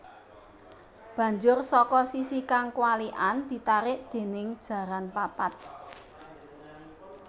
Banjur saka sisi kang kwalikan ditarik déning jaran papat